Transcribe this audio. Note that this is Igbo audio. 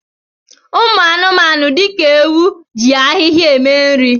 Anụmanụ dị ka ewu ji ahịhịa eme nri